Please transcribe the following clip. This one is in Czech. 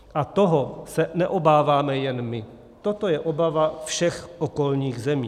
A toho se neobáváme jen my, toto je obava všech okolních zemí.